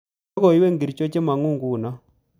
Logoywek ngircho chemangu nguno